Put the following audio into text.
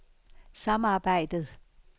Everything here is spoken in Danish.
samarbejdet